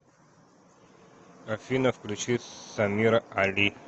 афина включи самира али